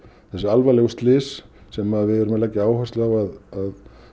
þessi alvarlegu slys sem við erum að